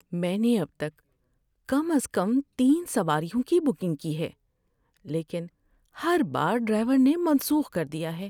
میں نے اب تک کم از کم تین سواریوں کی بکنگ کی ہے، لیکن ہر بار ڈرائیور نے منسوخ کر دیا ہے۔